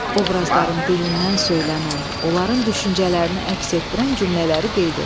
Obrazların dilindən söylənən, onların düşüncələrini əks etdirən cümlələri qeyd et.